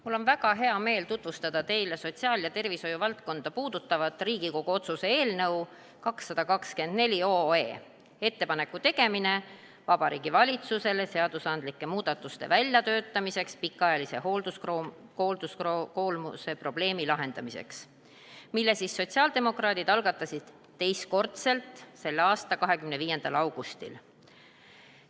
Mul on väga hea meel tutvustada teile sotsiaal- ja tervishoiuvaldkonda puudutavat Riigikogu otsuse eelnõu 224 "Ettepaneku tegemine Vabariigi Valitsusele seadusandlike muudatuste väljatöötamiseks pikaajalise hoolduskoormuse probleemi lahendamiseks", mille sotsiaaldemokraadid algatasid teistkordselt selle aasta 25. augustil.